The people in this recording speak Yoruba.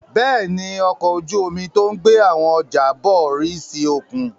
Bẹ́ẹ̀ ni, ọkọ̀ ojú-omi tó ń gbé àwọn ọjà bọ̀ rì sí òkun.